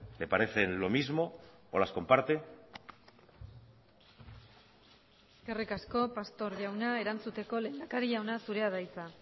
le parecen lo mismo o las comparte eskerrik asko pastor jauna erantzuteko lehendakari jauna zurea da hitza